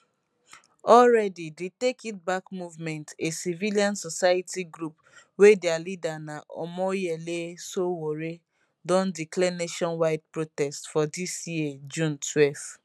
already di take it back movement a civil society group wey dia leader na omoyele sowore don declare nationwide protest for dis year year june 12